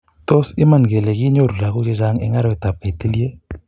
tas iman kelee kinyoru lagook chechang eng arawet ab kaitilie?